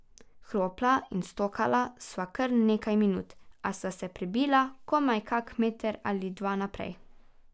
Hropla in stokala sva kar nekaj minut, a sva se prebila komaj kak meter ali dva naprej.